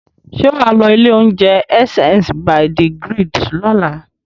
Ṣé wà á lọ ilé-oúnjẹ Essence by the Grid lọ́la?